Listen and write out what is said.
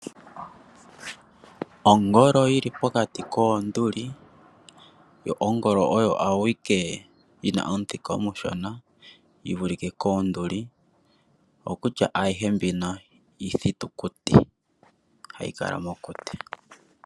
Ongolo yili pokati koonduli yo ongolo oyo awike yina omuthika omufupi yivulike koonduli oko kutya ayihe mbino iithitu kuti.